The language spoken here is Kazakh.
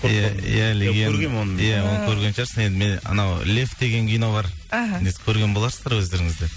иә оны көрген шығарсың енді мен анау лев деген кино бар іхі көрген боларсыздар өздеріңіз де